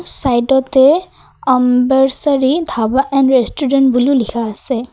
চাইডত Ambeshwari dhaba and restaurant বুলি লিখা আছে।